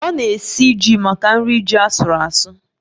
Ọ na-esi ji maka nri ji asuru asu